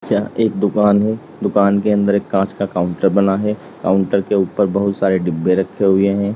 यह एक दुकान है दुकान के अंदर एक कांच का काउंटर बना है काउंटर के ऊपर बहुत सारे डिब्बे रखे हुए हैं।